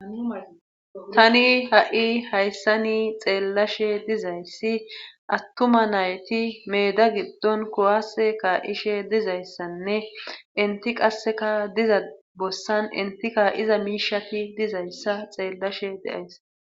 tani ha7i hayssani xeellashe dizayssi attuma nayti meeda giddon kuwase kaa7ishe dizayssanne entti qasseka diza bossan enti kaa7iza miishati dizayssa xeellashe de7ays.